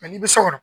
ni bɛ so kɔnɔ